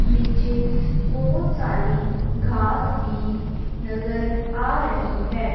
नीचे बहुत सारी घास भी नजर आ रही है।